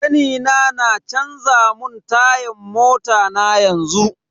Kanina na canza mun tayan mota na yanzu.